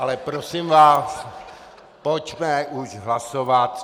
Ale prosím vás, pojďme už hlasovat.